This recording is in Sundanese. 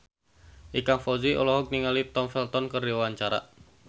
Ikang Fawzi olohok ningali Tom Felton keur diwawancara